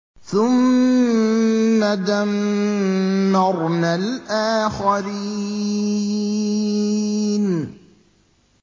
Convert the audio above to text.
ثُمَّ دَمَّرْنَا الْآخَرِينَ